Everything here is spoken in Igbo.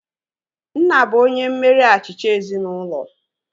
Nna bụ onye mmeri achịcha ezinaụlọ